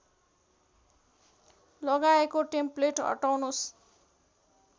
लगाएको टेम्प्लेट हटाउनुस्